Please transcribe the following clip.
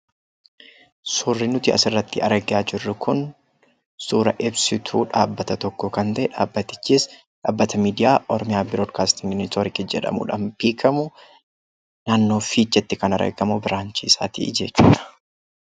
Suurri nuti asirratti argaa jirru kun suuraa ibsituu dhaabbata tokkoo kan ta’e dhaabbatichis dhaabbata miidiyaa Oromiyaa Biroodkaastiing Neetwoork jedhamuudhaan beekamu naannoo Fiicheetti kan argamu biraanchii isaati jechuudha